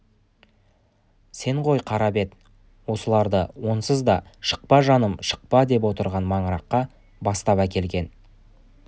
сен ғой қарабет осыларды онсыз да шықпа жаным шықпа деп отырған маңыраққа бастап әкелген